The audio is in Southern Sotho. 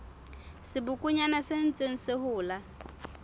sebokonyana se ntseng se hola